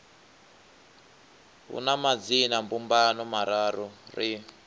hu na madzinambumbano mararu ri